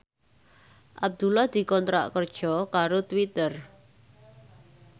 Abdullah dikontrak kerja karo Twitter